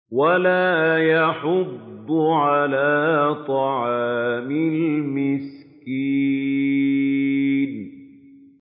وَلَا يَحُضُّ عَلَىٰ طَعَامِ الْمِسْكِينِ